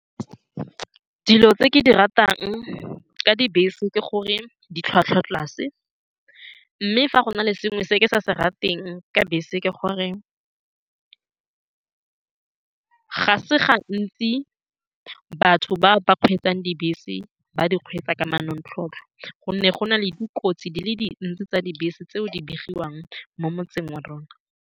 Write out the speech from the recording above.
Dilo tse ke di ratang ka dibese ke gore ditlhwatlhwa tlase, mme fa go na le sengwe se ke sa se rateng ka bese, ke gore ga se gantsi batho ba ba kgweetsang dibese ba di kgweetsa ka manontlhotlho, ka gonne go na le dikotsi di le dintsi tsa dibese tseo di begiwang mo motseng wa rona.